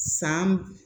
San